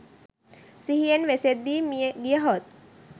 සිහියෙන් වෙසෙද්දී මිය ගියහොත්